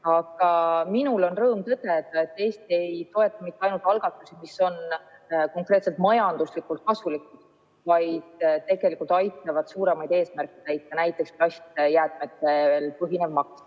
Aga minul on rõõm tõdeda, et Eesti ei toeta mitte ainult algatusi, mis on vaid konkreetselt majanduslikult kasulikud, vaid need algatused tegelikult aitavad suuremaid eesmärke täita, näiteks plastijäätmetel põhinev maks.